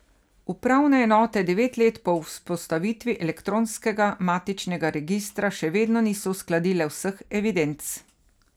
Upravne enote devet let po vzpostavitvi elektronskega matičnega registra še vedno niso uskladile vseh evidenc.